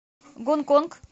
гонконг